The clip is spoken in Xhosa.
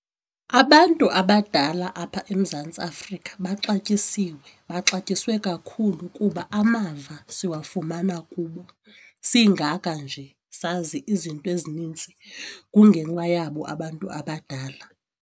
Abantu abadala apha eMzantsi Afrika baxatyisiwe, baxatyisiwe kakhulu kuba amava siwafumana kubo. Singaka nje sazi izinto ezinintsi kungenxa yabo abantu abadala.